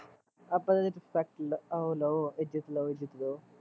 ਆਪਾਂ ਨੇ ਸਟ ਉਹ ਲਓ ਇੱਜ਼ਤ ਲਓ ਇੱਜ਼ਤ ਦਉ